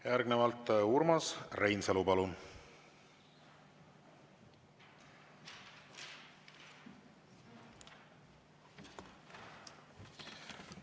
Järgnevalt Urmas Reinsalu, palun!